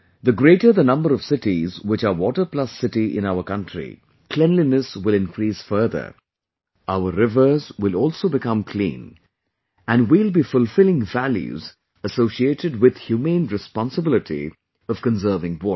The greater the number of cities which are 'Water Plus City' in our country, cleanliness will increase further, our rivers will also become clean and we will be fulfilling values associated with humane responsibility of conserving water